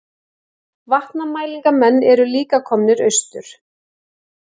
Vatnamælingamenn eru líka komnir austur